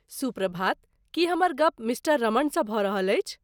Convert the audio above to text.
सुप्रभात, की हमर गप मिस्टर रमणसँ भऽ रहल अछि?